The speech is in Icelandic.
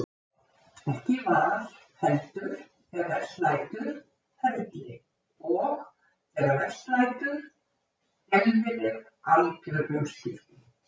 Ekki val, heldur- þegar best lætur- ferli, og, þegar verst lætur, skelfileg, algjör umskipti.